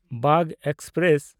Bagh express